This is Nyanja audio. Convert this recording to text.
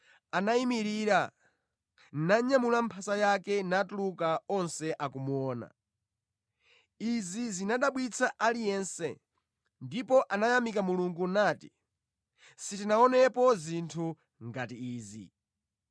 Anayimirira, nanyamula mphasa yake natuluka onse akumuona. Izi zinadabwitsa aliyense ndipo anayamika Mulungu nati, “Sitinaonepo zinthu ngati izi!”